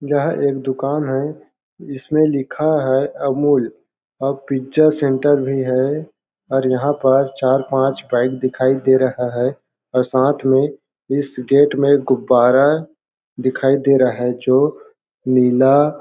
यह एक दुकान है इसमें लिखा है अमूल और पिज्जा सेंटर भी है और यहाँ पर चार-पाँच बाइक दिखाई दे रहा है और साथ में इस गेट में गुब्बारा दिखाई दे रहा है जो नीला --